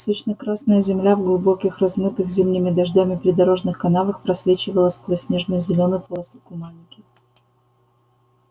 сочно-красная земля в глубоких размытых зимними дождями придорожных канавах просвечивала сквозь нежную зелёную поросль куманики